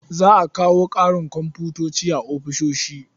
Za a kawo ƙarin komfuta a ofishin.